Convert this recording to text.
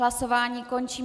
Hlasování končím.